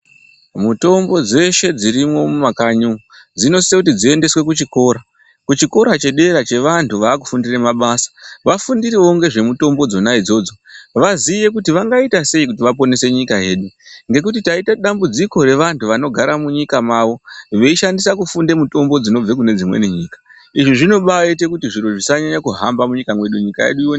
Mutombo dzeshe dzirimwo mumakanyi umu dzinosise kuti dziendeswe kuchikora, kuchikora chedera chevantu vaakufundira mabasa vafundirewo ngezvemitombo dzona idzodzo vaziye kuti vangaita sei kuti vaponese nyika yedu ngekuti taite dambudziko revanthu vanogara munyika mavo veishandisa kufunda mutombo dzinobva kune dzimweni nyika. Izvi zvinobaaite kuti zviro zvisanyanya kuhamba munyika mwedu, nyika yedu ione .....